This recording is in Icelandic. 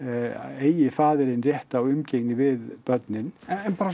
eigi faðirinn rétt á umgengni við börnin en bara